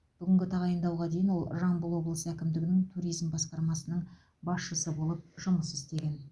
бүгінгі тағайындауға дейін ол жамбыл облысы әкімдігінің туризм басқармасының басшысы болып жұмыс істеген